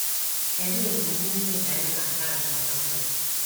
Kedu ebumnuche Ben na Karen maka mgbede?